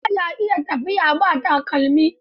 Mutum ba ya a iya tafiya ba takalmi.